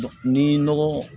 Ni nɔgɔ